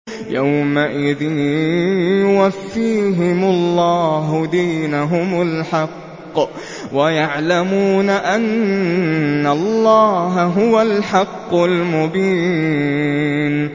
يَوْمَئِذٍ يُوَفِّيهِمُ اللَّهُ دِينَهُمُ الْحَقَّ وَيَعْلَمُونَ أَنَّ اللَّهَ هُوَ الْحَقُّ الْمُبِينُ